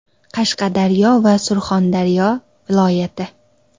Qashqadaryo va Surxondaryo viloyati.